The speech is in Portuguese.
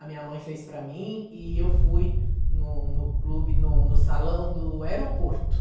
A minha mãe fez para mim e eu fui no no clube, no no salão do aeroporto.